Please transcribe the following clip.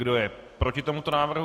Kdo je proti tomuto návrhu?